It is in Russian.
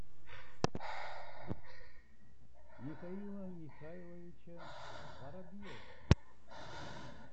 михаила михайловича воробьева